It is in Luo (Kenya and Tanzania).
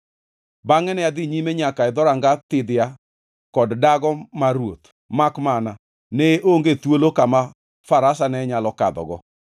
Bangʼe ne adhi nyime nyaka e Dhoranga Thidhia kod Dago mar Ruoth, makmana ne onge thuolo kama farasa ne nyalo kadhogo;